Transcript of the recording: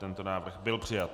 Tento návrh byl přijat.